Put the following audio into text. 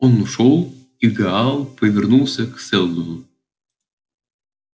он ушёл и гаал повернулся к сэлдону